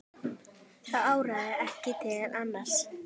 Það áraði ekki til annars.